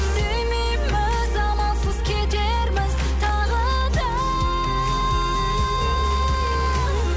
сүймейміз амалсыз кетерміз тағы да